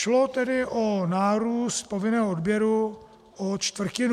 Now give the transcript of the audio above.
Šlo tedy o nárůst povinného odběru o čtvrtinu.